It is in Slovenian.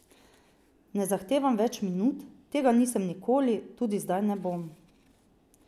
Ne zahtevam več minut, tega nisem nikoli, tudi zdaj ne bom.